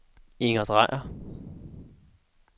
Inger Drejer